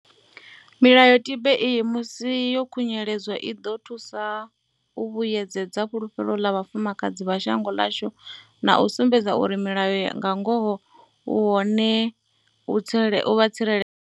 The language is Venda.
Milayotibe iyi, musi yo khunyeledzwa, i ḓo thusa u vhuyedzedza fhulufhelo ḽa vhafumakadzi vha shango ḽashu na u sumbedza uri mulayo nga ngoho u hone u vha tsireledza.